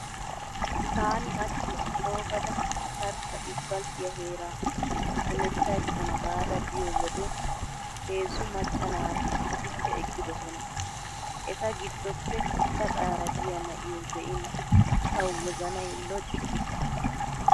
Taani hachchi coogada tarkka isppalttiya heeraa hemetta ekkana gaada biyo wode heezzu macca naati issippe eqqidosona. Eta giddoppe gaxaara diya na'iyo be'in tawu wozanay loccu giis.